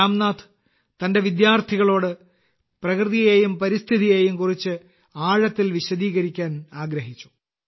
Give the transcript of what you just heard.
രാംനാഥ് തന്റെ വിദ്യാർത്ഥികളോട് പ്രകൃതിയെയും പരിസ്ഥിതിയെയും കുറിച്ച് ആഴത്തിൽ വിശദീകരിക്കാൻ ആഗ്രഹിച്ചു